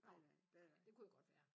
Nej nej det er der ikke